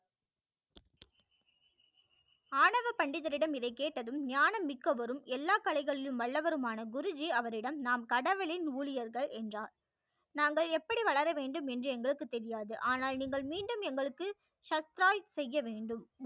ஆணவ பண்டிதர் இடம் இதை கேட்டதும் ஞானம் மிக்கவரும் எல்லா கலைகளில் வல்லவரும் ஆனா குரு ஜி அவரிடம் நாம் கடவுளின் ஊழியர்கள் என்றார் நாங்கள் எப்படி வளர வேண்டும் என்று எங்களுக்கு தெரியாது ஆனால் நீங்கள் மீண்டும் எங்களுக்கு சர்ப்ரைஸ் செய்ய வேண்டும்